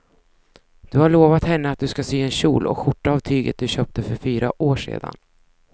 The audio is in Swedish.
Du har lovat henne att du ska sy en kjol och skjorta av tyget du köpte för fyra år sedan.